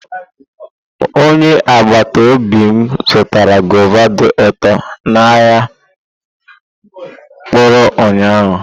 Onye agbata obi m zụtara guava dị ụtọ n'ahịa mkpụrụ ụnyahụ.